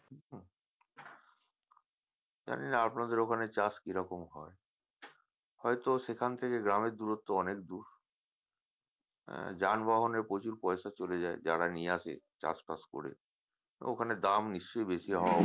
জানিনা আপনাদের ওখানে চাষ কি রকম হয় হয়ত সেখান থেকে গ্রামের দুরত্ব অনেক দূর হ্যাঁ যানবাহনে প্রচুর পয়সা চলে যায় যারা নিয়ে আসে চাষবাস করে ওখানে দাম নিশ্চয়ই বেশি হওয়া